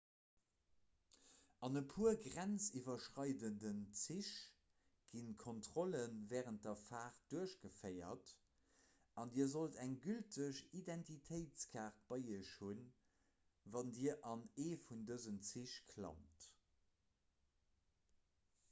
an e puer grenziwwerschreidenden zich gi kontrolle wärend der faart duerchgeféiert an dir sollt eng gülteg identitéitskaart bei iech hunn wann dir an ee vun dësen zich klammt